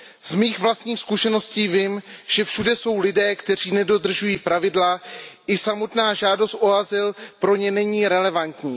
Z mých vlastních zkušeností vím, že všude jsou lidé, kteří nedodržují pravidla, i samotná žádost o azyl pro ně není relevantní.